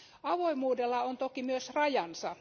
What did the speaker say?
Avoimuudella on toki myös rajansa.